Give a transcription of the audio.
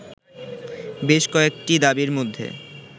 বেশ কয়েকটি দাবীর মধ্যে